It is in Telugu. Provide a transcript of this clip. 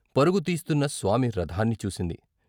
పరుగు తీస్తున్న స్వామి రథాన్ని చూసింది.